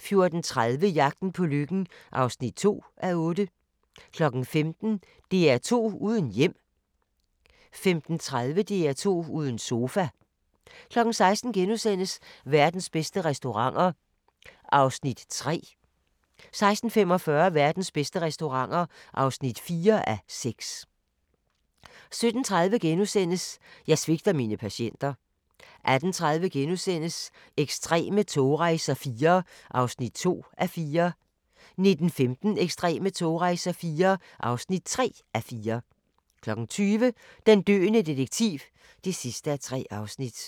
14:30: Jagten på lykken (2:8) 15:00: DR2 uden hjem 15:30: DR2 uden sofa 16:00: Verdens bedste restauranter (3:6)* 16:45: Verdens bedste restauranter (4:6) 17:30: Jeg svigter mine patienter * 18:30: Ekstreme togrejser IV (2:4)* 19:15: Ekstreme togrejser IV (3:4) 20:00: Den døende detektiv (3:3) 21:00: